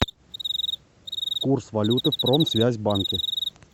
курс валюты в промсвязьбанке